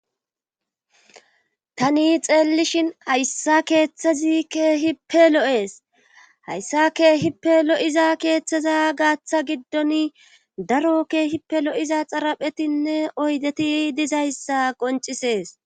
tani xeellishin hayssa keeththezi keehipe lo7ees hayssa keehippe lo7iza keeththeza gaaththa giddon daro keehippe lo7iza xaraphetinne oydeti dizayssa qoncisees